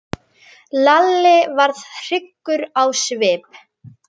Lalli varð hryggur á svip.